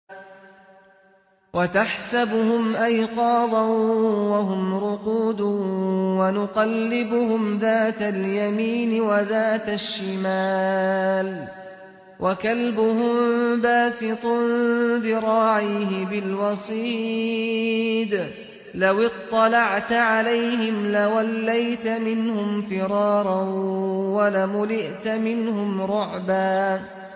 وَتَحْسَبُهُمْ أَيْقَاظًا وَهُمْ رُقُودٌ ۚ وَنُقَلِّبُهُمْ ذَاتَ الْيَمِينِ وَذَاتَ الشِّمَالِ ۖ وَكَلْبُهُم بَاسِطٌ ذِرَاعَيْهِ بِالْوَصِيدِ ۚ لَوِ اطَّلَعْتَ عَلَيْهِمْ لَوَلَّيْتَ مِنْهُمْ فِرَارًا وَلَمُلِئْتَ مِنْهُمْ رُعْبًا